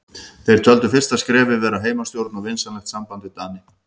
Þeir töldu fyrsta skrefið vera heimastjórn og vinsamlegt samband við Dani.